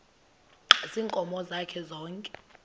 ziinkomo zakhe zonke